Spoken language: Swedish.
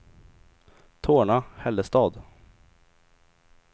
Torna-Hällestad